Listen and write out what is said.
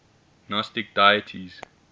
gnostic deities